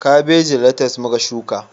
Kabeji da letis muka shuka